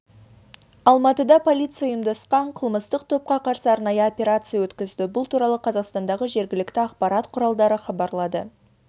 алматыда полиция ұйымдасқан қылмыстық топқа қарсы арнайы операция өткізді бұл туралы қазақстандағы жергілікті ақпарат құралдары хабарлады